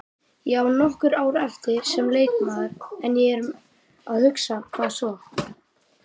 Ég á nokkur ár eftir sem leikmaður en ég er að hugsa, hvað svo?